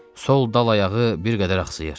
Sol dal ayağı bir qədər axsıyır.